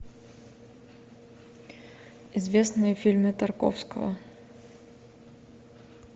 известные фильмы тарковского